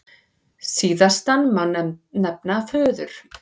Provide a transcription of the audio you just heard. Síðastan má nefna föður